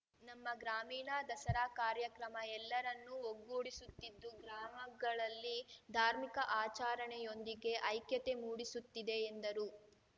ನಮ್ಮ ಗ್ರಾಮೀಣ ದಸರಾ ಕಾರ್ಯಕ್ರಮ ಎಲ್ಲರನ್ನು ಒಗ್ಗೂಡಿಸುತ್ತಿದ್ದು ಗ್ರಾಮಗಳಲ್ಲಿ ಧಾರ್ಮಿಕ ಆಚಾರಣೆಯೊಂದಿಗೆ ಐಕ್ಯತೆ ಮೂಡಿಸುತ್ತಿದೆ ಎಂದರು